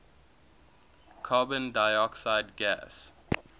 carbon dioxide gas